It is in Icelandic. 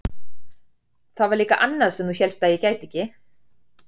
Það var líka annað sem þú hélst að ég gæti ekki.